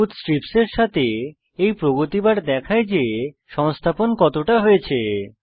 সবুজ স্ট্রিপের সাথে এই প্রগতি বার দেখায় যে সংস্থাপন কতটা হয়েছে